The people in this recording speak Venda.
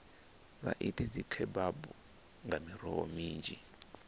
vha ite dzikhebabu nga miroho minzhi